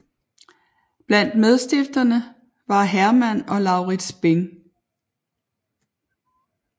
Blandt medstifterne var Herman og Laurids Bing